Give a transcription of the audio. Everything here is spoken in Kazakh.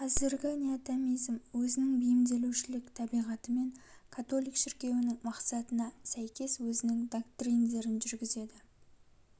қазіргі неотомизм өзінің бейімдеушілік табиғатымен католик шіркеуінін мақсатына сәйкес өзінің доктриндерін жүргізеді